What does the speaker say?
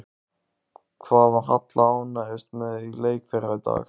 Hvað var Halla ánægðust með í leik þeirra í dag?